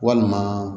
Walima